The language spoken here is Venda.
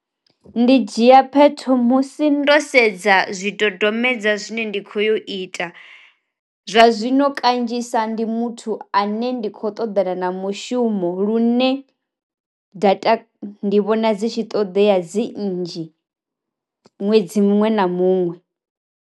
Ndi dzhia phetho musi ndo sedza zwi dodombedzwa zwine ndi kho yo ita, zwa zwino kanzhisa ndi muthu ane ndi khou ṱoḓana na mushumo lune data ndi vhona dzi tshi ṱoḓea dzi nnzhi ṅwedzi muṅwe na muṅwe.